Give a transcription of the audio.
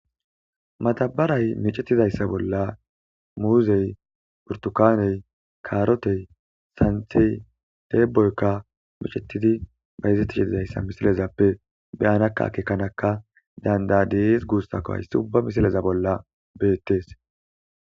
madabaray micetidayssa bolla muuzey, burtukaney, karotey, santi deeboykka micetidi bayizettishididayssa misilezappe beyanakka keekanaka dandadees guussako hayssi ubba misileza bolla beettes.